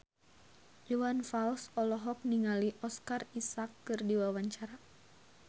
Iwan Fals olohok ningali Oscar Isaac keur diwawancara